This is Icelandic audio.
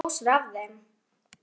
Stórar dósir af þeim.